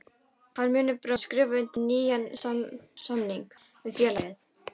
Hann muni bráðlega skrifa undir nýjan samning við félagið.